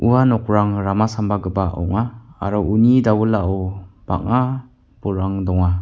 ua nokrang rama sambagiparang ong·a aro uni dawilao bang·a bolrang donga.